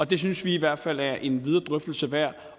det synes vi i hvert fald er en videre drøftelse værd